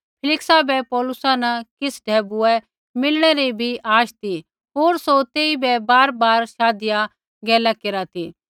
फेलिक्सा बै पौलुसा न किछ़ ढैबुऐ मिलनै री बी आश ती होर सौ तेइबै बारबार शाधिया गैला केरा ती